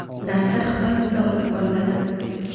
Darslar xitoy tilida olib boriladi.